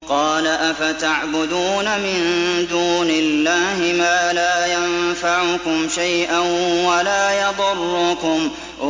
قَالَ أَفَتَعْبُدُونَ مِن دُونِ اللَّهِ مَا لَا يَنفَعُكُمْ شَيْئًا وَلَا يَضُرُّكُمْ